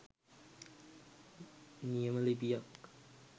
නියම ලිපියක්